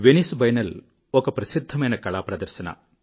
Venice biennale ఒక ప్రసిద్ధమైన కళా ప్రదర్శన